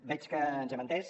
veig que ens hem entès